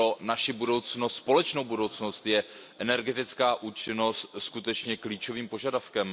Pro naši společnou budoucnost je energetická účinnost skutečně klíčovým požadavkem.